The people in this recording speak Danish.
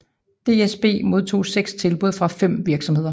DSB modtog seks tilbud fra fem virksomheder